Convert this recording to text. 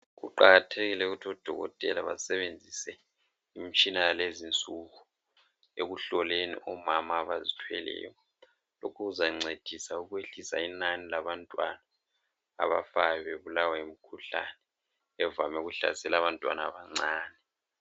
Kuqakathekile ukuthi udokotela basebenzise imitshina yalezinsuku ekuhloleni omama abazithweleyo okuzancedisa ukwehlisa inani labantwana abafayo bebulawa yimikhuhlane evame ukuhlasela abantwana abancane